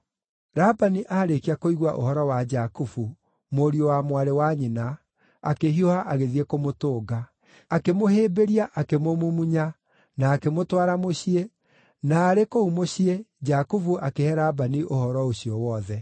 Labani aarĩkia kũigua ũhoro wa Jakubu, mũriũ wa mwarĩ wa nyina, akĩhiũha agĩthiĩ kũmũtũnga. Akĩmũhĩmbĩria akĩmũmumunya, na akĩmũtwara mũciĩ, na arĩ kũu mũciĩ Jakubu akĩhe Labani ũhoro ũcio wothe.